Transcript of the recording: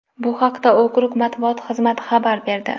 Bu haqda okrug matbuot xizmati xabar berdi .